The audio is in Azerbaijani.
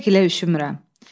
Bircə gilə üşümürəm.